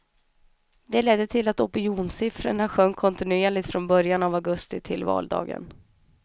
De ledde till att opinionssiffrorna sjönk kontinuerligt från början av augusti till valdagen.